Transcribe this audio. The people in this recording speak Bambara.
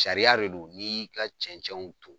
Sariya de do n'i y'i ka cɛnɛnw ton